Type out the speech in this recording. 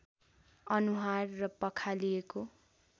अनुहार र पखालिएको